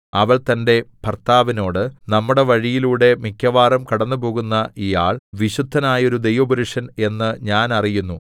അവൾ തന്റെ ഭർത്താവിനോട് നമ്മുടെ വഴിയിലൂടെ മിക്കവാറും കടന്നുപോകുന്ന ഈയാൾ വിശുദ്ധനായോരു ദൈവപുരുഷൻ എന്ന് ഞാൻ അറിയുന്നു